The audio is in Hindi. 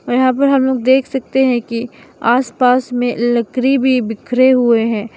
यहां पे हम लोग देख सकते हैं कि आसपास में लकरी भी बिखरे हुए हैं।